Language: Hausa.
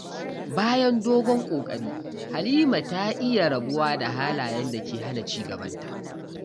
Bayan dogon ƙoƙari, Halima ta iya rabuwa da halayen da ke hana ci gabanta.